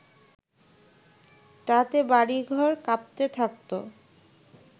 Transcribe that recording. তাতে বাড়িঘর কাঁপতে থাকতো